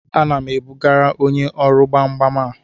Ana m ebugara onye ọrụ gbam gbam a